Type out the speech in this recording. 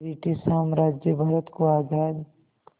British साम्राज्य भारत को आज़ाद